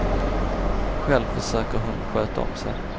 Själv försöker hon sköta om sig.